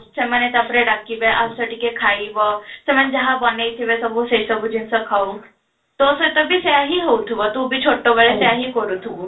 ସେମାନେ ତାପରେ ଡାକିବେ ଆସ ଟିକେ ଖାଇବ, ସେମାନେ ଯାହା ବନେଇ ଥିବେ ସେଇ ସବୁ ଜିନିଷ ଖାଉ, ତୋ ସହିତ ବି ସେଇୟା ହିଁ ହଉଥିବ, ତୁ ବି ଛୋଟବେଳେ ସେଇୟା ହିଁ କରୁଥିବୁ